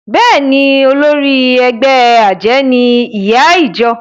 Bẹ́ẹ̀ni o, olórí ẹgbẹ́ àjẹ́ ni ìyá ìjọ